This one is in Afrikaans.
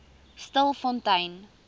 stilfontein